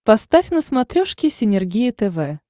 поставь на смотрешке синергия тв